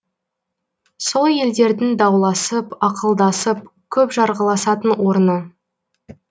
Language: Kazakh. сол елдердің дауласып ақылдасып көп жарғыласатын орны